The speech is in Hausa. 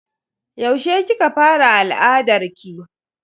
Yaushe kika fara al'adarki?